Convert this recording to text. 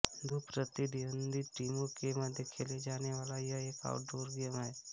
दो प्रतिद्वंदी टीमों के मध्य खेला जाने वाला यह एक आउट डोर गेम हैं